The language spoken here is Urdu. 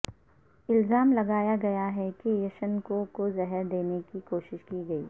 الزام لگایا گیا ہے کہ یشنکو کو زہر دینے کی کوشش کی گئی